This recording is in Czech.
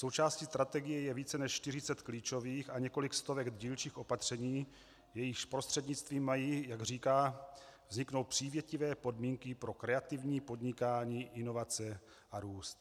Součástí strategie je více než 40 klíčových a několik stovek dílčích opatření, jejichž prostřednictvím mají, jak říká, vzniknout přívětivé podmínky pro kreativní podnikání, inovace a růst.